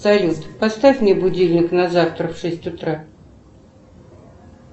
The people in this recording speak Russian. салют поставь мне будильник на завтра в шесть утра